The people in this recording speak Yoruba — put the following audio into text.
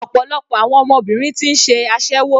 Ọ̀pọ̀lọpọ̀ àwọn ọmọbìnrin ti ń ṣe aséwó.